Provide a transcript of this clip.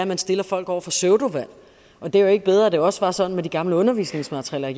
man stiller folk over for pseudovalg og det er jo ikke bedre at det også var sådan med de gamle undervisningsmaterialer